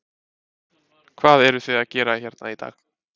Hvað eruð þið að gera hérna í dag?